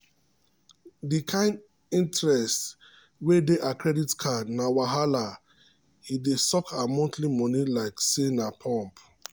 di kain interest wey dey her credit card na wahala e dey suck her monthly money like say na pump